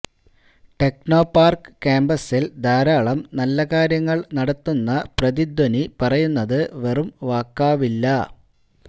ടെക്നോപാർക്ക് കാമ്പസിൽ ധാരാളം നല്ല കാര്യങ്ങൾ നടത്തുന്ന പ്രതിധ്വനി പറയുന്നത് വെറും വാക്കാവില്ല